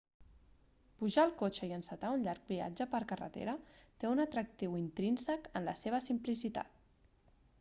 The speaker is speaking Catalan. pujar al cotxe i encetar un llarg viatge per carretera té un atractiu intrínsec en la seva simplicitat